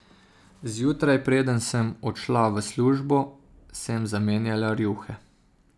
Zjutraj, preden sem odšla v službo, sem zamenjala rjuhe.